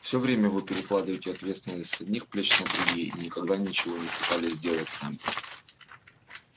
всё время вы перекладываете ответственность с одних плеч на другие и никогда ничего не пытались сделать сами